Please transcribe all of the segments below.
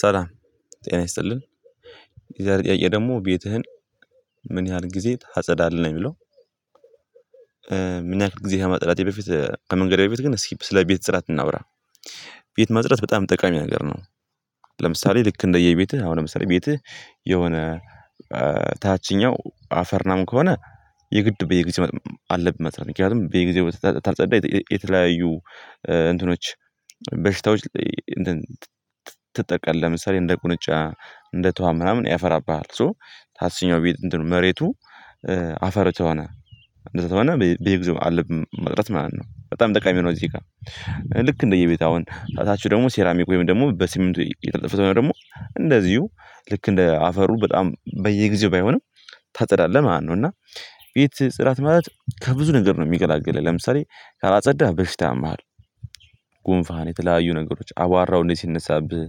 ሰላም ጤና ይስጥልን የዛሬ ጥያቄ ደግሞ ቤትህን ምን ያህል ጊዜ ታጸዳለህ ነው የሚለው? ምናክል ጊዜ ከማጥራቴ በፊት ከመንገሬ በፊት ግን ስለ ቤት ጽዳት እናውራ። ቤት ማጽዳት በጣም ጠቃሚ ነገር ነው። ለምሳሌ ልክ እንደየቤትህ አሁን ለምሳሌ ቤትህ የሆነ ታችኛው አፈር ምናምን ከሆነ የግድ በየጊዜው አለብህ ማጽዳት ምክንያቱም በየጊዜው ካልፀዳ የተለያየ እንትኖች በሽታዎች ትጠቃለህ። ለምሳሌ እንደ ቁንጫ እንደ ትሁዋን ምናምን ያፈራብሃል። ሶ ታችኛው ቤት እንትን መሬቱ አፈር ከሆነ እንደዛ ከሆነ በየጊዜው አለብህ ማጽዳት ማለት ነው በጣም ጠቃሚ ነው። እዚህ ጋር ልክ እንደየቤትህ አሁን ታቹ ደግሞ ሴራሚክ ወይም ደግሞ በስምንቶ የተለጠፈ ከሆነ ደግሞ እንደዚሁ ልክ እንደ አፈሩ በጣም በየጊዜው ባይሆንም ታጸዳለህ ማለት ነው። እና ቤት ጽዳት ማለት ከብዙ ነገር ነው የሚገላግለህ ለምሳሌ ካላጸዳህ በሽታ ያምሃለሁ። ጉንፋህን የተለያዩ ነገሮች አቧራው እንዴት ሲነሳብህ።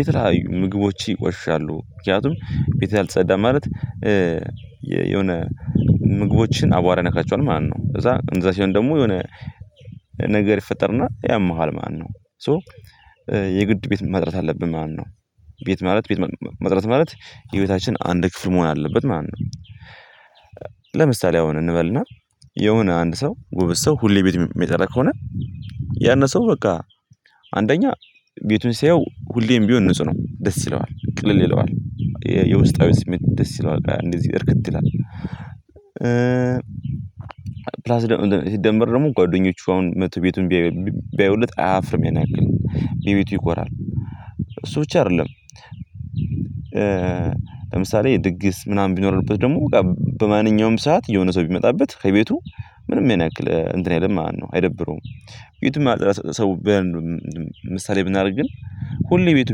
የተለያዩ ምግቦች ይቆሽሻሉ ምክንያቱም ቤት አልተፀዳም ማለት የሆነ ምግቦችን አቧራ ይነካቸዋል ማለት ነው። ከዛ እንደዛ ሲሆን ደግሞ የሆነ ነገር ይፈጠርና ያምሃል ማለት ነው። ሶ የግድ ቤት ማጥራት አለብን ማለት ነው። ቤት ማለት ቤት ማጥራት ማለት የህይወታችን አንድ ክፍል መሆን አለበት ማለት ነው። ለምሳሌ አሁን እንበልና የሆነ አንድ ሰው ጎበዝ ሰው ሁሌ ቤት የሚጠራ ከሆነ ያንን ሰው በቃ አንደኛ ቤቱን ሲያየው ሁሌም ቢሆን ንጹህ ነው ደስ ይለዋል ቅልል ይለዋል የውስጣዊ ስሜት ደስ ይለዋል እንደዚህ እርክት ይላል። ፕላስ ደግሞ ሲደምበር ደግሞ ጓደኞቹ አሁን መጥተው ቤቱን ቢያዩለት አያፍርም ያን ያክል በቤቱ ይኮራል እሱ ብቻ አይደለም። ለምሳሌ ድግስ ምናምን ቢኖርበት ደግሞ በቃ በማንኛውም ሰዓት የሆነ ሰው ቢመጣበት ከቤቱ ምንም ያን ያክል እንትን አይልም ማለት ነው አይደብረውም። ቤቱን ማጥራት ሰው ምሳሌ ብናደርግ ግን ሁሌ ቤቱ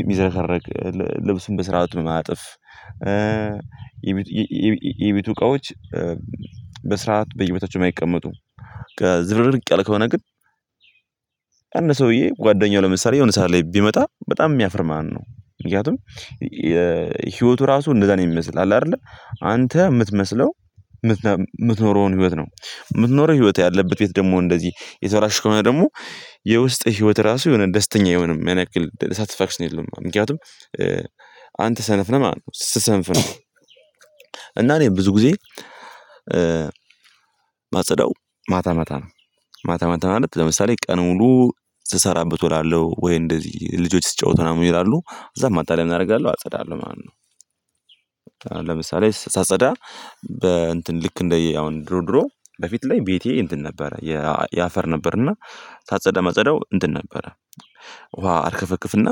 የሚዘረከረክ ልብሱን በስርዓት የማያጥፍ የቤቱ እቃዎች በስርዓት በየቦታቸው የማይቀመጡ ከዝብርቅርቅ ያለ ከሆነ ግን አንድ ሰውዬ ጓደኛው ለምሳሌ የሆነ ሰዓት ላይ ቢመጣ በጣም የሚያፍር ማለት ነው። ምክንያቱም የህይወቱ ራሱ እንደዛ ነው የሚመስል አለ አይደለ? አንተ የምትመስለው የምትኖረውን ህይወት ነው የምትኖረው ህይወት ያለበት ቤት ደግሞ እንደዚህ የተበላሽ ከሆነ ደግሞ የውስጥህ ህይወት ራሱ የሆነ ደስተኛ አይሆንም ያን ያክል ሳትስፋክሽን የለውም ማለት ነው። ምክንያቱም አንተ ሰነፍ ነህ ማለት ነው ስትሰንፍ ነው። እና እኔ ብዙ ጊዜ ማጸዳው ማታ ማታ ነው። ማታ ማታ ማለት ለምሳሌ ቀን ሙሉ ስሰራበት እውላለሁ ወይ እንደዚህ ልጆች ሲጫወቱ ምናምን ይውላሉ ከዛ ማታ ላይ ምን አደርጋለሁ አጸዳለሁ ማለት ነው። ለምሳሌ ሳጸዳ በ እንትን ልክ እንደየ አሁን ድሮ ድሮ በፊት ላይ ቤቴ እንትን ነበረ። የአፈር ነበር እና ሳጸዳ ማጸዳው እንትን ነበረ። ውሃ አርከፈክፍና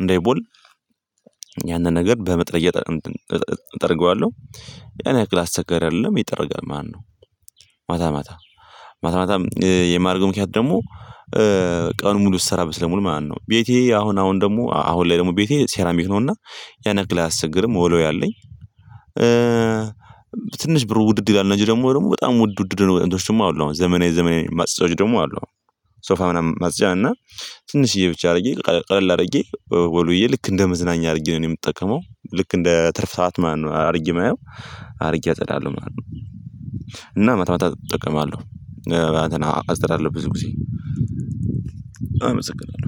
እንዳይቦን ያንን ነገር በመጥረግያ እጠርገዋለሁ። ያን ያክል አስቸጋሪ አይደለም ይጠረጋል ማለት ነው። ማታ ማታ ማታ ማታ የማደርገው ምክንያት ደግሞ ቀን ሙሉ ስሰራበት ስለምውል ማለት ነው። ቤቴ አሁን አሁን ደግሞ አሁን ላይ ደግሞ ቤቴ ሴራሚክ ነውና ያን ያክል አያስቸግርም መወልወያ አለኝ። ትንሽ ብሩ ውድድ ይላል እንደዚህ ደግሞ ደግሞ በጣም ውድ ውድ የሆኑ ማፅጃዎችም አሉ አሁን ዘመናዊ ዘመናዊ ማጽጃዎች ደግሞ አሉ። አሁን ሶፋ ምናምን ማጽጃ እና ትንሽዬ ብቻ አድርጌ ቀለል አድርጌ ወልውዬ ልክ እንደ መዝናኛ አድርጌ ነው የምጠቀመው ልክ እንደ ትርፍ ሰዓት ማነው አድርጌ የማየው አድርጌ አጸዳለሁ ማለት ነው። ነው ማታ ማታ እጠቀማለሁ። ማለቴ አጸዳለሁ ብዙ ጊዜ አመሰግናለሁ